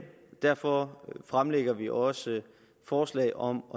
derfor fremlægger vi også forslag om